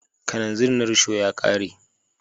Kananzir na risho ya ka re.